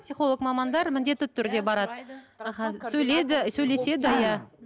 психолог мамандар міндетті түрде барады аха сөйлейді сөйлеседі иә